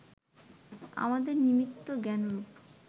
আমাদের নিমিত্ত জ্ঞানরূপ